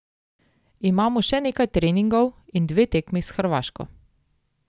Imamo še nekaj treningov in dve tekmi s Hrvaško.